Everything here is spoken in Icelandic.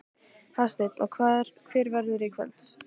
Hafsteinn: Og hver verðurðu í kvöld?